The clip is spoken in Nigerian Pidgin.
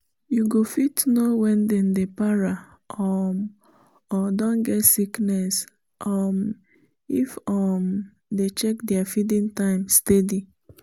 you go fit know when then dey para um or don get sickness um if you um dey check their feeding time steady